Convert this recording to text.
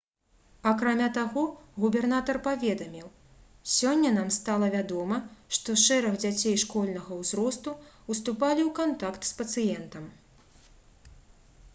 акрамя таго губернатар паведаміў: «сёння нам стала вядома што шэраг дзяцей школьнага ўзросту ўступалі ў кантакт з пацыентам»